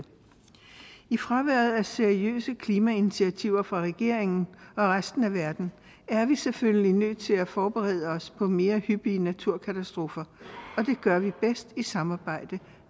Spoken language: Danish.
i fraværet af seriøse klimainitiativer fra regeringen og resten af verden er vi selvfølgelig nødt til at forberede os på mere hyppige naturkatastrofer og det gør vi bedst i samarbejde